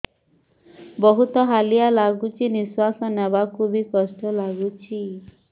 ବହୁତ୍ ହାଲିଆ ଲାଗୁଚି ନିଃଶ୍ବାସ ନେବାକୁ ଵି କଷ୍ଟ ଲାଗୁଚି